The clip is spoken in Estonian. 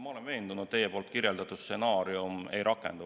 Ma olen veendunud, et teie kirjeldatud stsenaarium ei rakendu.